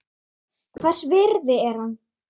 Hvers virði er hann?